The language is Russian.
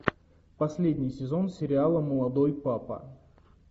последний сезон сериала молодой папа